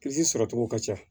sɔrɔcogo ka ca